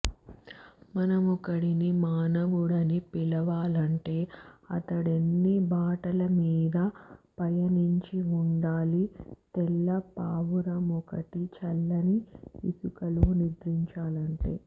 మనమొకడిని మానవుడని పిలవాలంటే అతడెన్ని బాటలమీద పయనించి వుండాలి తెల్ల పావురమొకటి చల్లని ఇసుకలో నిద్రించాలంటే